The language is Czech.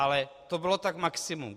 Ale to bylo tak maximum.